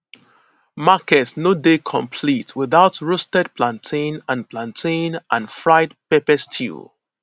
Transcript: market no dey complete without roasted plantain and plantain and fried pepper stew